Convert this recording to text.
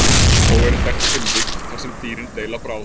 Þó eru þekkt tilvik þar sem dýrin deila bráð.